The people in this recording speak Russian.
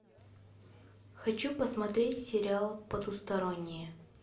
хочу посмотреть сериал потусторонние